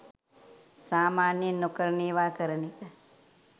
සාමාන්‍යයෙන් නොකරන ඒවා කරන එක